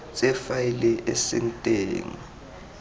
tse faele e seng teng